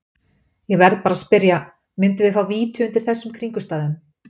Ég verð bara að spyrja, myndum við fá víti undir þessum kringumstæðum?